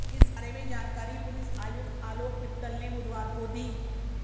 इस बारे में जानकारी पुलिस आयुक्त आलोक मित्तल ने बुधवार को दी